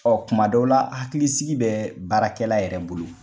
kuma dɔw la hakilisiki bɛ baarakɛla yɛrɛ bolo.